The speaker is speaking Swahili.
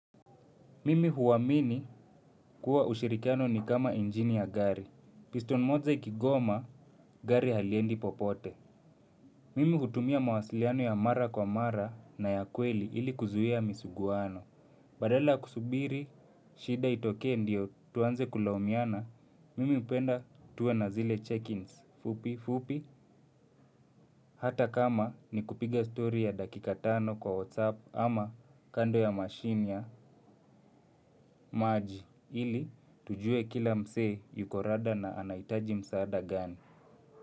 Mimi huamini kuwa ushirikiano ni kama injini ya gari. Piston moja ikigoma gari haliendi popote. Mimi hutumia mawasiliano ya mara kwa mara na ya kweli ili kuzuia misuguano. Badala ya kusubiri, shida itokee ndio tuanze kulaumiana, mimi hupenda tuwe na zile check-ins fupi fupi, hata kama ni kupiga story ya dakika tano kwa whatsapp ama kando ya mashine ya maji ili tujue kila msee yuko rada na anahitaji msaada gani.